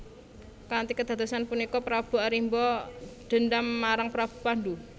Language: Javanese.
Kanthi kedadosan punika Prabu Arimba dendam marang Prabu Pandu